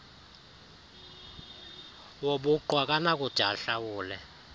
wobuqu akanakude ahlawule